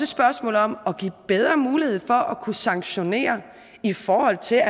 spørgsmål om at give bedre mulighed for at kunne sanktionere i forhold til at